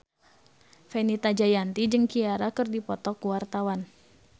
Fenita Jayanti jeung Ciara keur dipoto ku wartawan